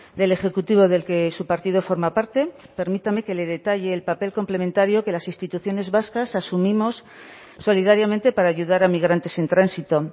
del ejecutivo del que su partido forma parte permítame que le detalle el papel complementario que las instituciones vascas asumimos solidariamente para ayudar a migrantes en tránsito